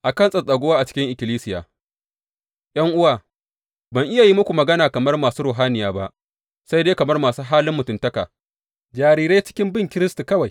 A kan tsattsaguwa a cikin ikkilisiya ’Yan’uwa, ban iya yi muku magana kamar masu ruhaniya ba, sai dai kamar masu halin mutuntaka, jarirai cikin bin Kiristi kawai.